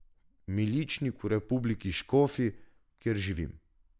Miličnik v republiki Škofi, kjer živim.